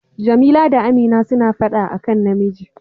Jamila da Amina suna fada a kan namiji.